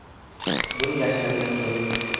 Buni yashiradigan joyi yo‘q.